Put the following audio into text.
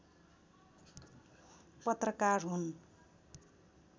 पत्रकार हुन्